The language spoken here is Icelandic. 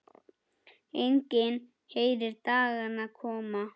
Enginn heyrir dagana koma.